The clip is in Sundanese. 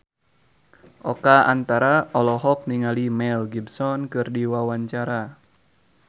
Oka Antara olohok ningali Mel Gibson keur diwawancara